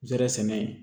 Zɛrɛn sɛnɛ